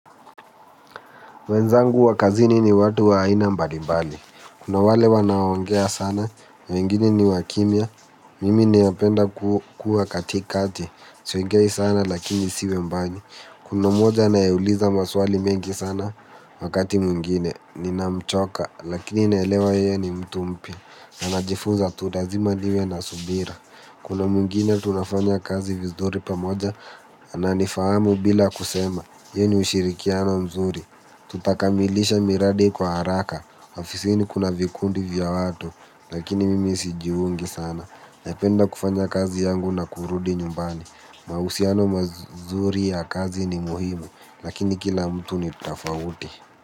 Wenzangu wa kazini ni watu wa aina mbalimbali. Kuna wale wanaongea sana, wengine ni wa kimya. Mimi napenda kuwa katikati. Siongei sana lakini siwe mbani. Kuna moja anayeuliza maswali mengi sana wakati mwingine. Ninamchoka lakini naelewa yeye ni mtu mpya. Na najifuza tu lazima niwe na subira. Kuna mwingine tunafanya kazi vizuri pamoja. Na nifahamu bila kusema Ye ni ushirikiano mzuri. Tutakamilisha miradi kwa haraka. Ofisini kuna vikundi vya watu. Lakini mimi sijiungi sana. Napenda kufanya kazi yangu na kurudi nyumbani. Mahusiano mazuri ya kazi ni muhimu. Lakini kila mtu ni tofauti.